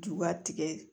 Juba tigɛ